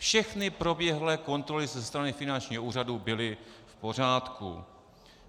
Všechny proběhlé kontroly ze strany finančního úřadu byly v pořádku.